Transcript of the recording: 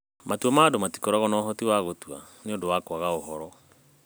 Matua ma Andũ Matikoragwo na Ũhoti wa Gũtua nĩ ũndũ wa kwaga ũhoro.